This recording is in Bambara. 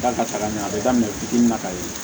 Da ka ca ka ɲɛ a bɛ daminɛ fitinin na ka ye